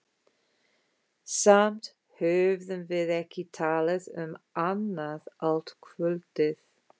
Samt höfðum við ekki talað um annað allt kvöldið.